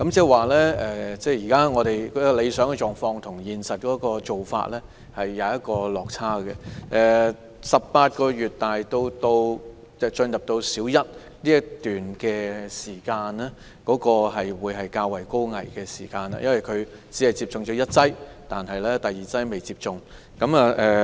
換言之，理想情況與現實做法有落差，而幼童由18個月至入讀小一之間這段期間會面對較大風險，因為他們只接種了第一劑疫苗，尚未接種第二劑。